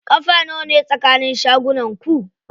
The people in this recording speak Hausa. Ƙafa nawane tsakanin shagunan ku?